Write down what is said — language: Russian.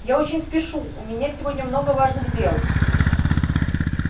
я очень спешу у меня сегодня много важных дел